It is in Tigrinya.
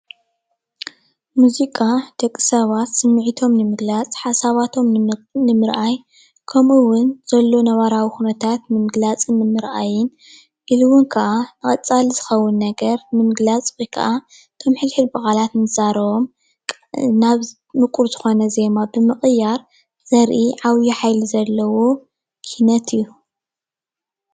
ሙዚቃ ናይ ደቂ ሰባት መዘናጊዒ ወይ ከዓ መልእኽቲ ንምትሕልላፍ ዝጠቅም ትውፊት እዩ።